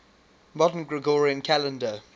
modern gregorian calendar